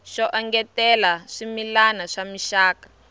xo engetela swimila swa mixaka